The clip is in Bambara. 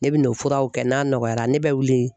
Ne bɛ n'o furaw kɛ n'a nɔgɔyara ne bɛ wili